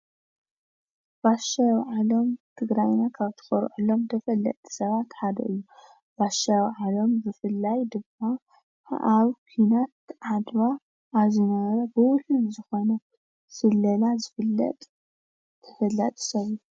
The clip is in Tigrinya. ባሻይ አዉዓሎም ትግራይ ካብ ትኮርዐሎም ተፈለጥቲ ሰባት ሓደ እዪ። ባሻይ አዉዓሎም ብፍላይ ድማ ኣብ ኩናት ዓድዋ አብ ዝነበረ ብዉህሉል ዝኮነ ስለላ ዝፍለጥ ተፈላጢ ሰብ እዪ ።